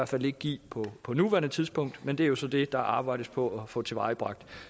fald ikke give på nuværende tidspunkt men det er jo så det der arbejdes på at få tilvejebragt